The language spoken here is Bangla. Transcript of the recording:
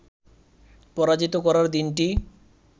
পরাজিত করার দিনটি